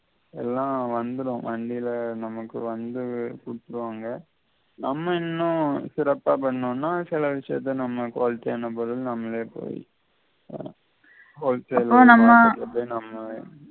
எல்லாம் வந்திடும் வண்டில நமக்கு வந்து குடுத்திடுவாங்க நம்ம இன்னும் சிறப்பா பண்ணோம்னா சில விசயத்த நம்ம நம்மளே போய் ஆஹ் அப்போ நம்ம